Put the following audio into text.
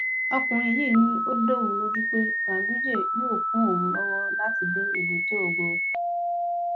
ọkùnrin yìí ni ó dá òun lójú pé ganduje yóò kún òun lọwọ láti dé èbúté ògo